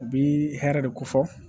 U bi hɛrɛ de ko fɔ